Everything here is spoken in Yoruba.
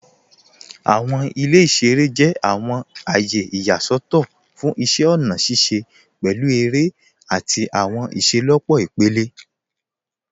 Awọn ilẹ̀ iṣẹ̀rẹ̀ jẹ̀ awọn ayé iyaṣọtọ̀ fún iṣẹ̀ ọ̀na ṣiṣẹ̀, pẹ̀lú èrẹ̀ ati awọn iṣẹlọpọ̀ ipẹ̀lẹ.